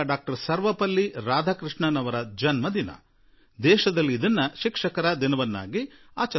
ಸರ್ವಪಲ್ಲಿ ರಾಧಾಕೃಷ್ಣನ್ ಅವರ ಜನ್ಮದಿನವಾಗಿದೆ ಮತ್ತು ದೇಶ ಅದನ್ನು ಶಿಕ್ಷಕರ ದಿನದ ರೂಪದಲ್ಲಿ ಆಚರಿಸುತ್ತಿದೆ